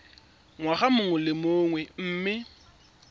ngwaga mongwe le mongwe mme